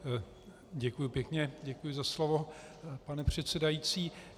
Děkuji pěkně, děkuji za slovo, pane předsedající.